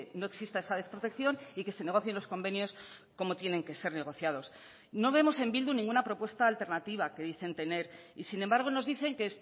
no exista esa desprotección y que se negocien los convenios como tienen que ser negociados no vemos en bildu ninguna propuesta alternativa que dicen tener y sin embargo nos dicen que